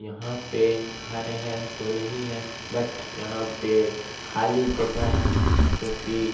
यहाँ पे घर है तो नहीं है बट यहाँ पे खाली जगह है जो कि--